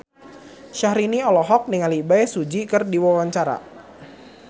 Syahrini olohok ningali Bae Su Ji keur diwawancara